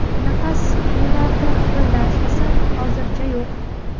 Nafas yo‘llarida xirillash esa hozircha yo‘q.